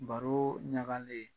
Baro ɲagalen.